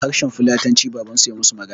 Da harshen fulatanci babansu ya musu magana